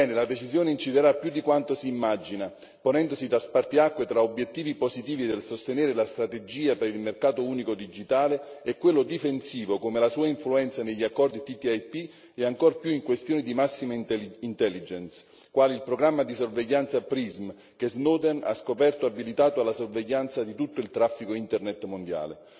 La decisione inciderà più di quanto si immagini, ponendosi da spartiacque tra obiettivi positivi nel sostenere la strategia per il mercato unico digitale e quello difensivo come la sua influenza negli accordi TTIP, e ancor più in questioni di massima intelligence, quale il programma di sorveglianza Prisma che Snowden ha scoperto essere abilitato alla sorveglianza di tutto il traffico Internet mondiale.